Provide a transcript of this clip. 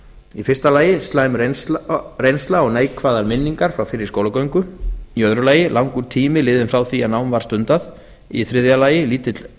í fyrsta lagi slæm reynsla og neikvæðar minningar frá fyrri skólagöngu í öðru lagi langur tími liðinn frá því að nám var stundað í þriðja lagi